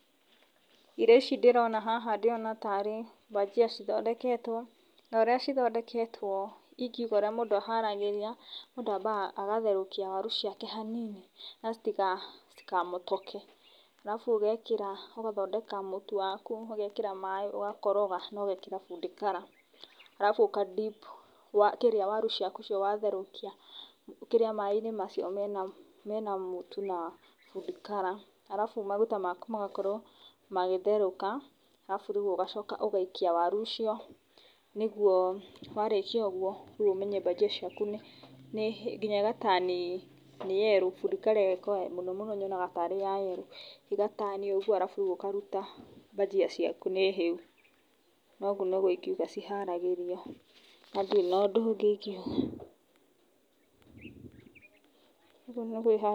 Irio ici ndĩrona haha ndĩrona tarĩ mbajia cithondeketwo, na ũrĩa cithondeketwo ingĩuga ũrĩa mũndũ aharagĩria, mũndũ ambaga agatherũkia waru ciake hanini na citika, citikamotoke. Arabu ũgekĩra ũgathondeka mũtu waku ũgekĩra warũ ũgakoroga na ũgekĩra food color, arabu uka dip kĩrĩa waru ciaku icio watherũkia kĩrĩa maĩ-inĩ macio mena mũtu na food color, arabu maguta maku magakorwo magĩtherũka arabu rĩu ũgacoka ũgaikia waru icio nĩguo warĩkia ũguo rĩu ũmenye mbajia ciaku nĩ nĩ nginya igatani yerrow, food color ĩyo mũno ũno nyonaga tarĩ ya yerrow ĩgatani ũguo arabu rĩu ũkaruta mbajia ciaku nĩ hĩu na ũguo nĩguo ingĩuga ciharagĩrĩrio na ndĩrĩ na ũndũ ũngĩ ingĩuga, ũguo nĩguo iharagĩrio.